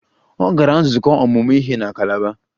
Ọ gara nzukọ ọmụmụ ihe na Kalaba